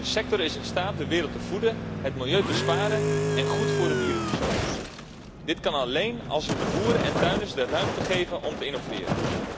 De sector is in staat de wereld te voeden, het milieu te sparen en goed voor de dieren te zorgen. Dit kan alleen als we de boeren en tuinders de ruimte geven om te innoveren.